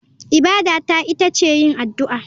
Ibada ta ita ce yin addu'a.